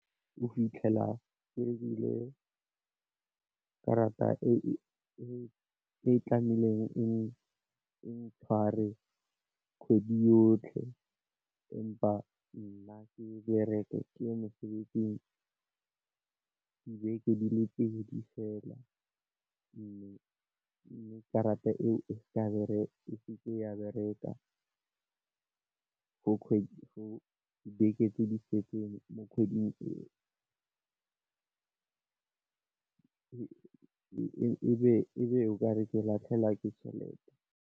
O fitlhela ebile karata e e tlamehileng e ntshware kgwedi yotlhe, empa nna ke bereke ke ye mosebetsing di beke di le pedi fela mme karata eo e se ke ya bereka. For kgwedi go beke tse di setseng mo kgweding e e be o kare ke latlhegelwa ke tšhelete.